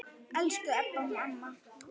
Elsku Ebba amma.